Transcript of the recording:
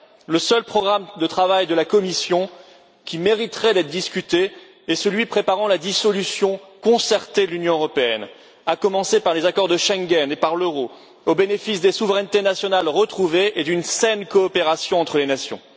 Le seul programme de travail de la Commission qui mériterait d'être discuté est celui préparant la dissolution concertée de l'Union européenne, à commencer par les accords de Schengen et par l'euro, au bénéfice des souverainetés nationales retrouvées et d'une saine coopération entre les nations.